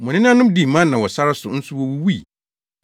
Mo nenanom dii mana wɔ sare so nso wowuwui,